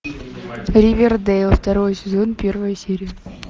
ривердэйл второй сезон первая серия